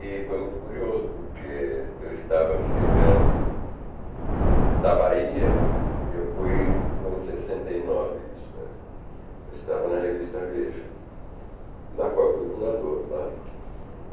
E foi muito curioso, porque eu estava chegando da Bahia, eu fu,i foi em sessenta e nove isso é. Eu estava na revista Veja, da qual eu fui fundador, claro.